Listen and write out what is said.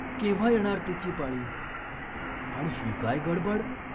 केव्हा येणार तिची पाळी ? आणि ही काय गडबड ?